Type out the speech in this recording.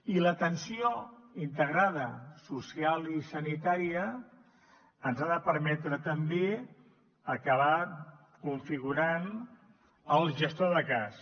i l’atenció integrada social i sanitària ens ha de permetre també acabar configurant el gestor de cas